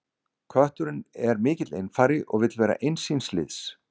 Kötturinn er mikill einfari og vill vera eins síns liðs.